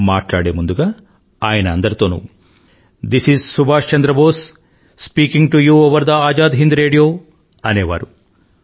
మాట్లాడే ముందుగా ఆయన అందరితోనూ this is Subhash Chandra Bose speaking to you over the Azad Hind radio అనేవారు